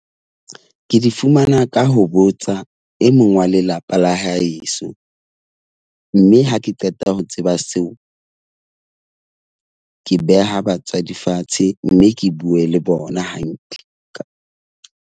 Ke di fumana ka ho botsa e mong wa lelapa la heso. Mme ha ke qeta ho tseba seo, ke beha batswadi fatshe. Mme ke bue le bona hantle ka.